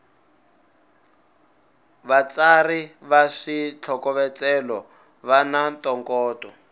vatsari va switlhokovetselo vana ntokoto